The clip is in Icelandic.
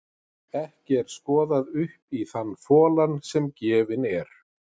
Ekki er skoðað upp í þann folann sem gefinn er.